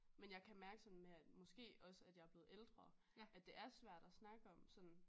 Men jeg kan mærke sådan med at måske også at jeg er blevet ældre at det er svært at snakke om